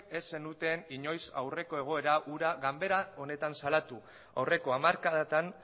ez zenuten inoiz aurreko egoera hura ganbara honetan salatu aurreko hamarkadatan